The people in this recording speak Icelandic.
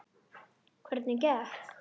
Hvernig gekk?